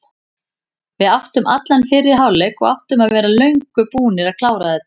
Við áttum allan fyrri hálfleik og áttum að vera löngu búnir að klára þetta.